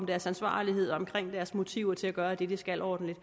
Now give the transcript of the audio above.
deres ansvarlighed og deres motivation gøre det de skal ordentligt